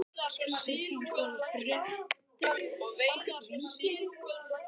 Hver er þín skoðun á fréttunum úr Víkinni?